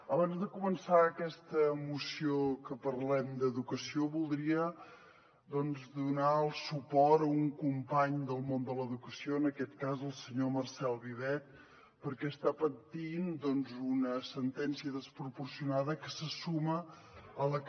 abans de començar aquesta moció que parlem d’educació voldria donar suport a un company del món de l’educació en aquest cas el senyor marcel vivet perquè està patint una sentència desproporcionada que se suma a la que